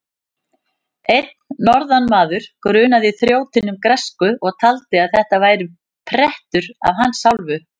Einn norðanmaður grunaði þrjótinn um græsku og taldi að þetta væri prettur af hans hálfu.